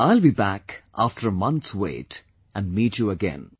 I'll be back after a month's wait and meet you again